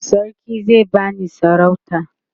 sarki zai bani sarauta